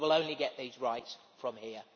We will only get these rights from here.